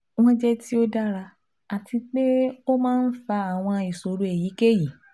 Wọn jẹ ti o dara ati pe o maa n fa awọn iṣoro eyikeyi